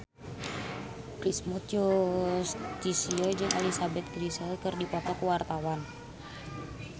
Primus Yustisio jeung Elizabeth Gillies keur dipoto ku wartawan